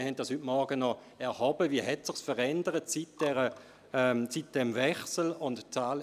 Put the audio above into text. Wir haben heute Morgen noch erhoben, wie sich dies seit dem Wechsel verändert hat.